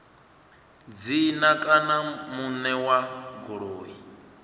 dzina kana muṋe wa goloi